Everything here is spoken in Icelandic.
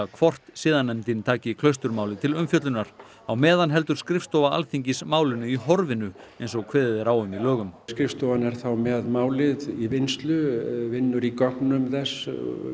hvort siðanefndin taki Klausturmálið til umfjöllunar á meðan heldur skrifstofa Alþingis málinu í horfinu eins og kveðið er á um í lögum skrifstofan er þá með málið í vinnslu vinnur í gögnum þess